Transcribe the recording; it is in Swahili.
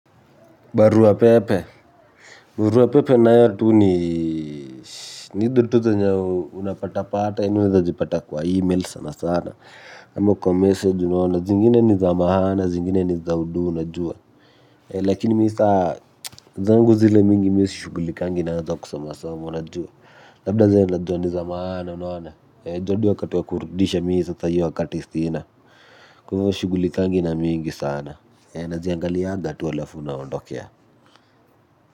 Barua Pepe, Barua Pepe nayo tu ni ni hizo tu zenye unapatapata unaeza zipata kwa e-mail sana sana ama kwa message unaona zingine ni za maana zingine ni za udu unajua. Lakini mi sa zangu zile mingi mi sishugulikangi nazo kusomasoma unajua. Labda zenye najuaa ni za maana unaona. Ju hadi wakati wa kurudisha mi sasa hiyo wakati sina. Kwa hivi sishughulikangi na mingi sana. Naziangaliaga tu alafu naondokea.